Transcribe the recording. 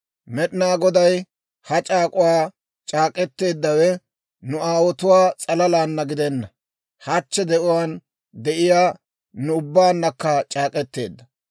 Med'inaa Goday ha c'aak'uwaa c'aak'k'eteeddawe nu aawotuwaa s'alalaana gidenna; hachchi de'uwaan de'iyaa nu ubbaannakka c'aak'k'eteedda.